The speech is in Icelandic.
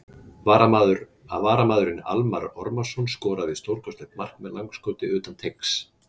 VARAMAÐURINN ALMARR ORMARSSON SKORAÐI STÓRKOSTLEGT MARK MEÐ LANGSKOTI UTAN TEIGS!!